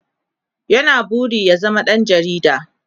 ya na burin ya zama ɗan jarida